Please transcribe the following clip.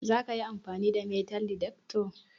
zakayi amfani da metal detector?